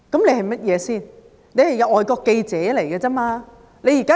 它只是一個外國記者組織而已。